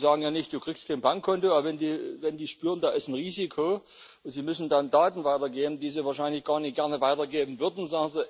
Die sagen ja nicht Du kriegst kein Bankkonto, wenn sie irgendwie spüren, da ist ein Risiko, und sie müssen dann Daten weitergeben, die sie wahrscheinlich gar nicht gerne weitergeben würden.